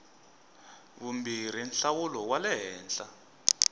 vumbirhi nhlawulo wa le henhla